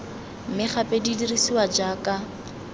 mme gape di dirisiwa jaaka